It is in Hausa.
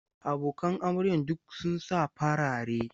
Abokan amaryan duk sun sa farare.